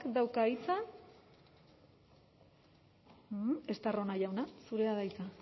dauka hitza estarrona jauna zurea da hitza